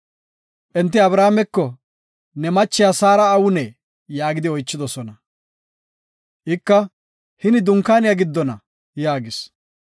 Enti Abrahaameko, “Ne machiya Saara awunee?” yaagidi oychidosona. Ika, “Hini dunkaaniya giddona” yaagis.